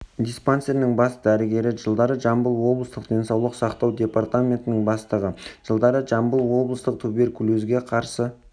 диспансерінің бас дәрігері жылдары жамбыл облыстық денсаулық сақтау департаментінің бастығы жылдары жамбыл облыстық туберкулезге қарсы